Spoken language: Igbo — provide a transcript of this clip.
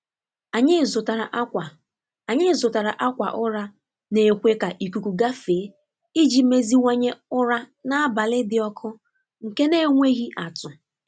Anyị zụtara akwa Anyị zụtara akwa ụra na-ekwe ka ikuku gafee iji meziwanye ụra n’abalị dị ọkụ nke na-enweghi atụ.